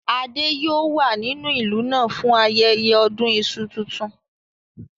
Adé yòó wà nínú ìlú náà fún ayẹyẹ ọdún iṣu tuntun